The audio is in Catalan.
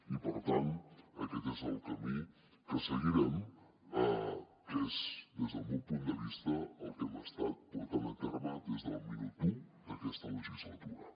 i per tant aquest és el camí que seguirem que és des del meu punt de vista el que hem estat portant a terme des del minut u d’aquesta legislatura